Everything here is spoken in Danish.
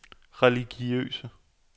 religiøse